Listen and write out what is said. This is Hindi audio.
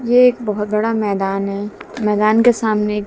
ये एक बहोत बड़ा मैदान हैं मैदान के सामने एक--